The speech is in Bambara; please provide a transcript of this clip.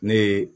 Ne ye